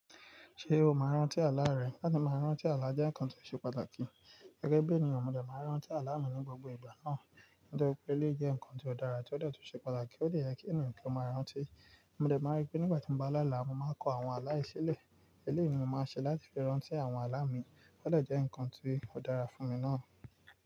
Ṣé o máa rántí àlá rẹ? Láti máa rántí àlá jẹ́ ǹkan tó ṣe pàtàkì. Gẹ́gẹ́ bí ènìyàn, mo dẹ̀ máa rántí àlá mi ní gbogbo ìgbà náà. Nítorí pé eoé jẹ́ ǹkan tó dára tí ó de tun ṣe pàtàkì ó de yẹ kí ènìyàn kí ó máa rántí. Mo dẹ̀ máa rí pé nígbà tí mo bá láàlá, mo máa kọ àwọn aláìṣilẹ̀. Eléyìí ni mo máa ṣe láti fi rántí àwọn àlá mi. Ó de jẹ́ ǹkan tó dára fún mi náà.